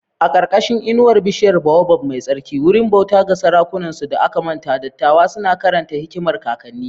A ƙarƙashin inuwar bishiyar baobab mai tsarki, wurin bauta ga sarakunansu da aka manta, dattawa suna karanta hikimar kakanni.